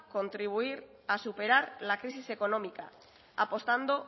contribuir a superar la crisis económica apostando